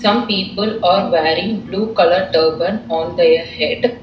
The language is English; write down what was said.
Some people are wearing blue colour turban on their head.